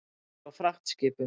Ég var á fragtskipum.